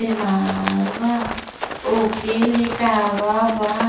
बीमार बा। ओके लिटाव बा।